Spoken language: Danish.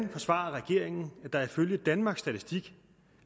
forsvarer regeringen at der ifølge danmarks statistik